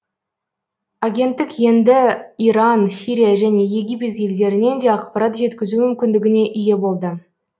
агенттік енді иран сирия және египет елдерінен де ақпарат жеткізу мүмкіндігіне ие болды